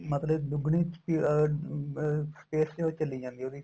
ਮਤਲਬ ਦੁਗਣੀ ਸਪੀ ਅਹ space ਚਲੀ ਜਾਂਦੀ ਏ ਉਹਦੀ